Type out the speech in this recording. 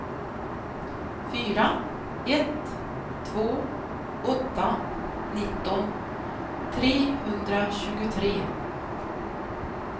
fyra ett två åtta nitton trehundratjugotre